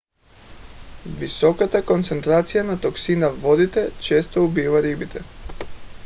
високата концентрация на токсина във водите често убива рибите